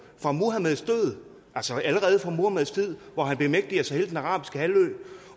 allerede fra muhammeds tid hvor han bemægtiger sig hele den arabiske halvø